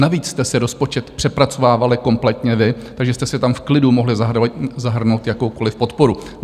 Navíc jste si rozpočet přepracovávali kompletně vy, takže jste si tam v klidu mohli zahrnout jakoukoliv podporu.